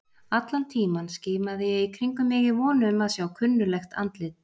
Allan tímann skimaði ég í kringum mig í von um að sjá kunnuglegt andlit.